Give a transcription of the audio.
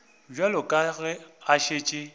bjale ka ge a šetše